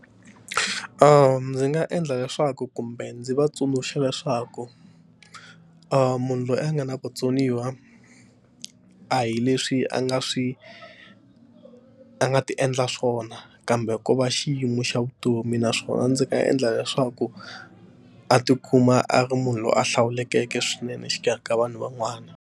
Ndzi nga endla leswaku kumbe ndzi va tsundzuxa leswaku munhu loyi a nga na vutsoniwa a hi leswi a nga swi a nga ti endla swona kambe ko va xiyimo xa vutomi naswona ndzi nga endla leswaku a tikuma a ri munhu loyi a hlawulekeke swinene exikarhi ka vanhu van'wana.